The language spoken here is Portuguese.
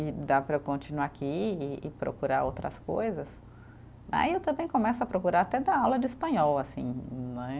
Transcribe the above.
e dá para eu continuar aqui e e procurar outras coisas, aí eu também começo a procurar até dar aula de espanhol, assim, não é?